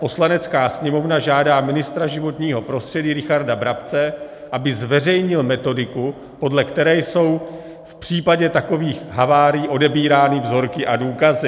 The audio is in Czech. Poslanecká sněmovna žádá ministra životního prostředí Richarda Brabce, aby zveřejnil metodiku, podle které jsou v případě takových havárií odebírány vzorky a důkazy.